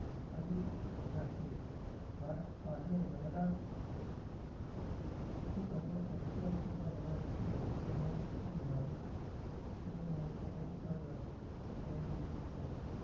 કહી દીધા છે કાંઠે રહેલા હેતુ અન્ય સત્યાવીશ ટકા વધારે છે તો નાંટુનું લઇ લીધું છે.